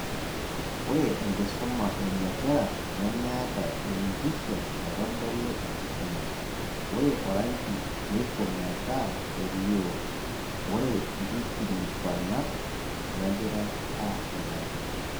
Ore enkisuma ebiashara nemeeta enmpisha naitodolu enkisuma, ore orangi neiko meta melio, ore nkikilikuanat negira aasulari